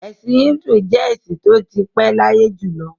Ẹ̀sìn Híńdù jẹ́ ẹ̀sìn tó ti pé láyé jù lọ.